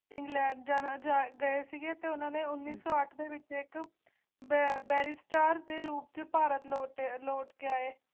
England ਜਾਣਾ ਦਾ ਅਰਥ ਤੇ ਉਨ੍ਹਾਂ ਨੇ ਉਣੀ ਸੋ ਅਤ ਵਿਚ ਏਕ ਬਰਾਬਰ ਸਟਾਰ ਦੇ ਰੂਪ ਤੋਂ ਭਾਰ ਤ ਦੇ ਉਲਟ ਕਿ ਹੈ